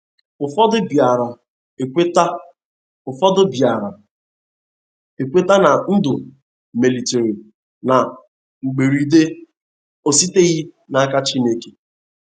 Ụfọdụ biara ekweta Ụfọdụ biara ekweta na ndụ melitere na mgberede,o esiteghị n’aka Chineke